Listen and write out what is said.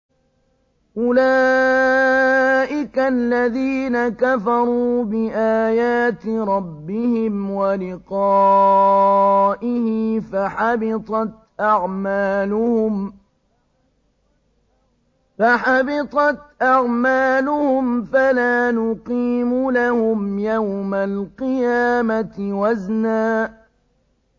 أُولَٰئِكَ الَّذِينَ كَفَرُوا بِآيَاتِ رَبِّهِمْ وَلِقَائِهِ فَحَبِطَتْ أَعْمَالُهُمْ فَلَا نُقِيمُ لَهُمْ يَوْمَ الْقِيَامَةِ وَزْنًا